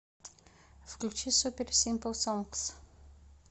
включи супер симпл сонгс